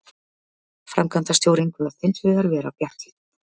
Framkvæmdastjórinn kvaðst hins vegar vera bjartsýnn